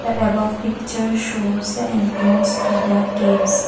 the above picture shows the entrance to the caves.